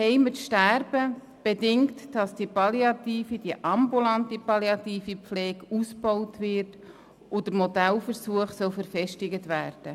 Zu Hause zu sterben bedingt, dass die ambulante palliative Pflege ausgebaut und der Modellversuch verfestigt wird.